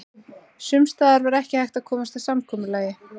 Sums staðar var ekki hægt að komast að samkomulagi.